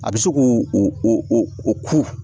A bɛ se k'u ku